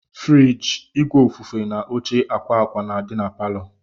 Furige, ìgwè ofufe na óche akwa akwa na-adi n'paló.